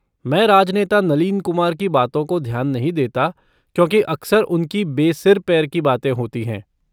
मैं राजनेता नलीन कुमार की बातों को ध्यान नहीं देता क्योंकि अक्सर उनकी बेसिर पैर की बातें होती हैं।